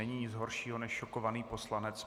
Není nic horšího, než šokovaný poslanec.